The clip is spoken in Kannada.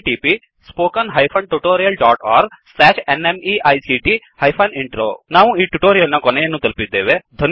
httpspoken tutorialorgNMEICT Intro ನಾವು ಟ್ಯುಟೋರಿಯಲ್ ನ ಕೊನೆಯನ್ನು ತಲುಪಿದ್ದೇವೆ